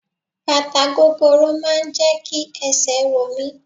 Bàtà gogoro máà ń jẹ́ kí esè ro mí.